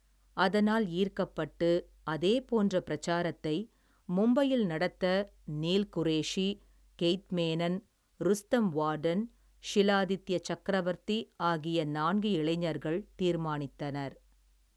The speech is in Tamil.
அதனால் ஈர்க்கப்பட்டு, அதேபோன்ற பிரசாரத்தை, மும்பையில் நடத்த, நீல் குரேஷி, கெய்த் மேனன், ருஸ்தம் வார்டன், ஷிலாதித்ய சக்கரவர்த்தி, ஆகிய நான்கு இளைஞர்கள் தீர்மானித்தனர்.